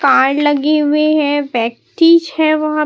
car लगे हुए है व्यक्ति है वह--